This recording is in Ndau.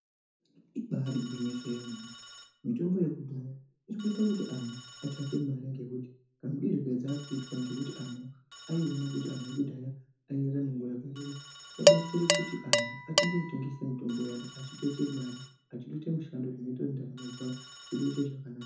Ibari gwinyiso yemene mitombo yekudhaya ichikuita kuti anhu atsvake mari ngekuti kamudirwo kedzakuitwa ngekuti anhu aiwone kuti ekudhaya ayirarama nguwa yakareba. Wabatsire kuti anhu atange kutengesa mitombo iyoyo echitoite mare achitoite mishando zvonoite kuti ndaramo zvavo dziite zvakanaka.